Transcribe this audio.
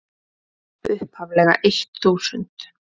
upphaflega eitt þúsund.